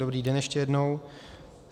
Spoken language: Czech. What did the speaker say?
Dobrý den ještě jednou.